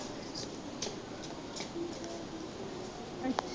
ਅੱਛਾ।